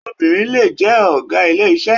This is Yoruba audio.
Obìnrin lè jẹ́ ọ̀gá ilé iṣẹ́.